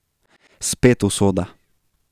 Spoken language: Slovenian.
Spet usoda.